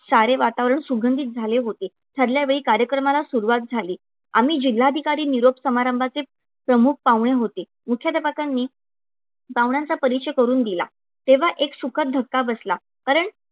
सारे वातावरण सुगंधीत झाले होते. ठरल्या वेळी कार्यक्रमाला सुरवात झाली. आम्ही जिल्हाधिकारी निरोप समारंभाचे प्रमुख पाहुणे होते. मुख्याध्यापकांनी पाहुण्यांचा परिचय करून दिला, तेव्हा एक सुखद धक्का बसला, कारण